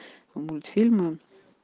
мультфильмы